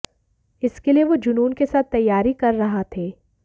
इसके लिए वो जुनून के साथ तैयारी कर रहा थे